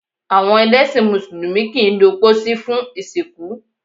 Awọn ẹlẹsin músùlùmí kii lo pósí fun ìsìnkú